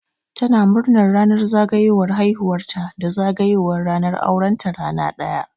Tana murnar ranar zagayowar haihuwar ta da zagayowar ranar auren ta rana ɗaya